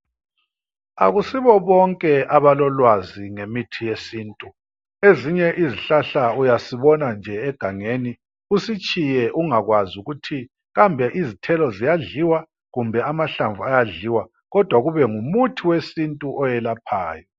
Akusibo bonke abalolwazi ngemithi yesintu. Ezinye izihlahla uyasibona nje egangeni usitshiye ungakwazi ukuthi kambe izithelo ziyadliwa kumbe amahlamvu ayadliwa kodwa kube ngumuthi wesintu oyelaphayo.